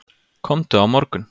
Komdu á morgun.